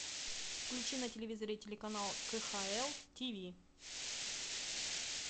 включи на телевизоре телеканал кхл тиви